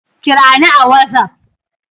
Kirani a watsaf!